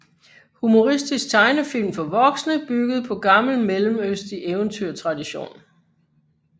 Humoristisk tegnefilm for voksne bygget på gammel mellemøstlig eventyrtradition